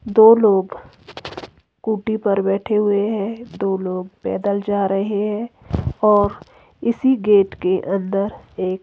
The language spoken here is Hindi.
दो लोग स्कूटी पर बैठे हुए हैं दो लोग पैदल जा रहे हैं और इसी गेट के अंदर एक--